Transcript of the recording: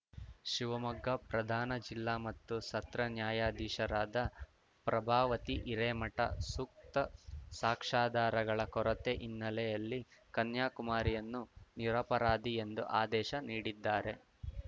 ಶಿವಮೊಗ್ಗ ಪ್ರಧಾನ ಜಿಲ್ಲಾ ಮತ್ತು ಸತ್ರ ನ್ಯಾಯಾಧೀಶರಾದ ಪ್ರಭಾವತಿ ಹಿರೇಮಠ ಸೂಕ್ತ ಸಾಕ್ಷಾಧಾರಗಳ ಕೊರತೆ ಹಿನ್ನೆಲೆಯಲ್ಲಿ ಕನ್ಯಾಕುಮಾರಿಯನ್ನು ನಿರಪರಾಧಿ ಎಂದು ಆದೇಶ ನೀಡಿದ್ದಾರೆ